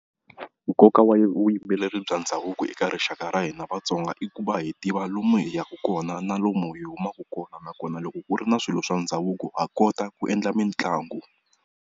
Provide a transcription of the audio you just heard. Nkoka wa vuyimbeleri bya ndhavuko eka rixaka ra hina Vatsonga, i ku va hi tiva lomu hi yaka kona na lomu hi humaka kona nakona. Loko ku ri na swilo swa ndhavuko ha kota ku endla mitlangu.